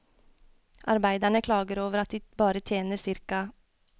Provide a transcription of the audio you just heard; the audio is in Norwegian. Arbeiderne klager over at de bare tjener ca.